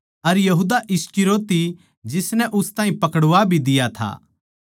अर यहूदा इस्करियोती जिसनै उस ताहीं पकड़वा भी दिया था